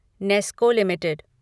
Nesco limited